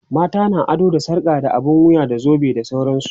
mata na ado da sarka, abun wuya, zobe da sauransu